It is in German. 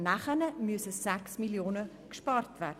Danach müssen aber 6 Mio. Franken eingespart werden.